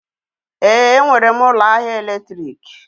Èé, enwere m ụlọ ahịa èlétrị̀k.